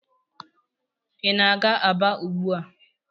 Ị na-aga Aba ugbu a?